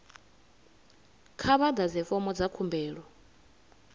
kha vha ḓadze fomo dza khumbelo